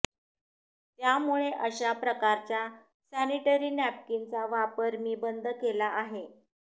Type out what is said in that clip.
त्यामुळे अशा प्रकारच्या सॅनिटरी नॅपकीनचा वापर मी बंद केला आहे